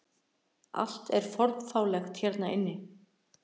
Allt er fornfálegt hérna inni.